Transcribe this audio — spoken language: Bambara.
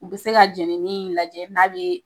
U be se ka jenini in lajɛ n'a be